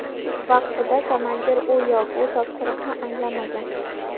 Vaqtida komandir u yo bu topshiriqni anglamagan.